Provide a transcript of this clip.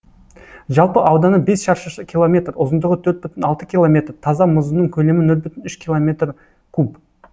жалпы ауданы бес шаршы километр ұзындығы төрт бүтін алты километр таза мұзының көлемі нөл бүтін үш километр куб